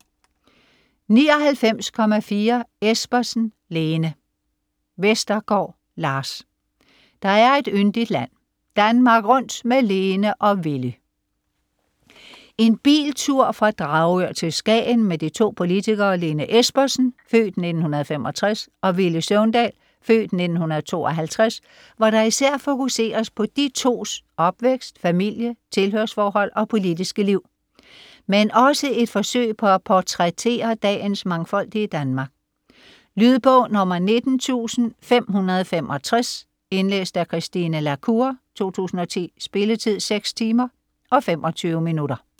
99.4 Espersen, Lene Vestergaard, Lars: Der er et yndigt land: Danmark rundt med Lene og Villy En biltur fra Dragør til Skagen med de to politikere Lene Espersen (f. 1965) og Villy Søvndal (f. 1952), hvor der især fokuseres på de tos opvækst, familie, tilhørsforhold og politiske liv, men også et forsøg på at portrættere dagens mangfoldige Danmark. Lydbog 19565 Indlæst af Christine la Cour, 2010. Spilletid: 6 timer, 25 minutter.